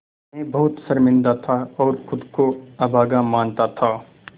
मैं बहुत शर्मिंदा था और ख़ुद को अभागा मानता था